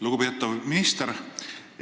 Lugupeetav minister!